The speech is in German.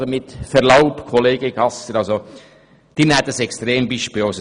Aber mit Verlaub, Grossrat Gasser: Sie nehmen ein Extrembeispiel.